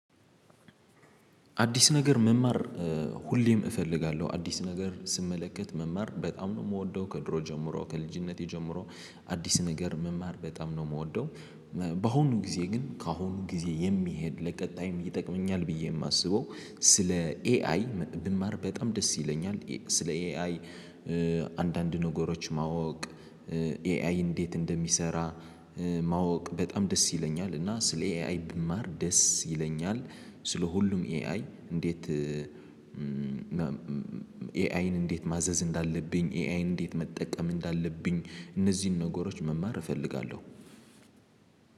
አዲስ ነገር መማር ሁሌም እፈልጋለሁ አዲስ ነገር ስመለከት መማር በጣም ነው ምወደው ከድሮ ጀምሮ ከልጅነቴ ጀምሮ አዲስ ነገር መማር በጣም ነው ምወደው። ባሆኑ ጊዜ ግን ከአሁኑ ጊዜ የሚሄድ ለቀጣይም ይጠቅመኛል ብዬ ማስበው። ስለ ኤአይ ብማር በጣም ደስ ይለኛል። ስለ ኤአይ አንዳንድ ነገሮች ማወቅ ኤአይ እንዴት እንደሚሰራ። ማወቅ በጣም ደስ ይለኛል እና ስለ ኤአይ ብማር ደስ ይለኛል። ስለ ሁሉም ኤአይ እንዴት ኤአይን እንዴት ማዘዝ እንዳለብኝ ኤአይን እንዴት መጠቀም እንዳለብኝ እነዚህን ነገሮች መማር እፈልጋለሁ።